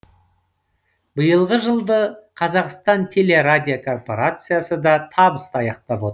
биылғы жылды қазақстан телерадиокорпорациясы да табысты аяқтап отыр